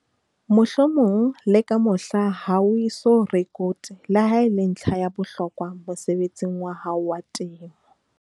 Mohlomong le ka mohla ha o eso rekote le ha e le ntlha ya bohlokwa mosebetsing wa hao wa temo.